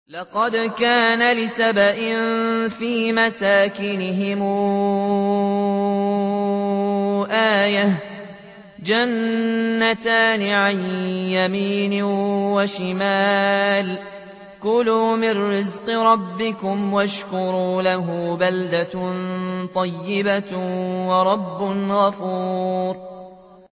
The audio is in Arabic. لَقَدْ كَانَ لِسَبَإٍ فِي مَسْكَنِهِمْ آيَةٌ ۖ جَنَّتَانِ عَن يَمِينٍ وَشِمَالٍ ۖ كُلُوا مِن رِّزْقِ رَبِّكُمْ وَاشْكُرُوا لَهُ ۚ بَلْدَةٌ طَيِّبَةٌ وَرَبٌّ غَفُورٌ